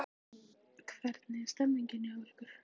Hvernig er stemmingin hjá ykkur?